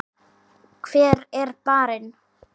Hver er barinn?